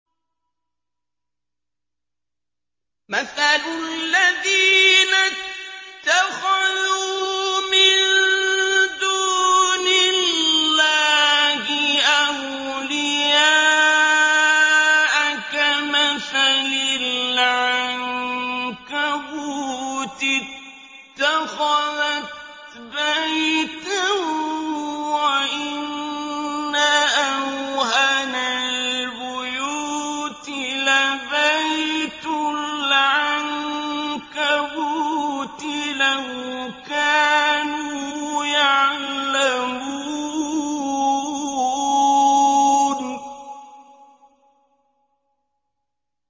مَثَلُ الَّذِينَ اتَّخَذُوا مِن دُونِ اللَّهِ أَوْلِيَاءَ كَمَثَلِ الْعَنكَبُوتِ اتَّخَذَتْ بَيْتًا ۖ وَإِنَّ أَوْهَنَ الْبُيُوتِ لَبَيْتُ الْعَنكَبُوتِ ۖ لَوْ كَانُوا يَعْلَمُونَ